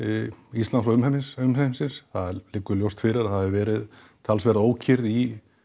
Íslands og umheimsins umheimsins það liggur fyrir að það hefur verið talsverð ókyrrð í